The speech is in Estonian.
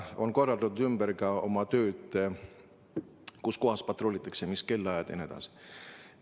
On korraldatud ümber ka seda, kus kohas patrullitakse, mis kellaajal jne.